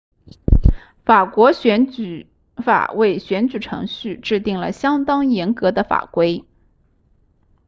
法国选举法为选举程序制订了相当严格的法规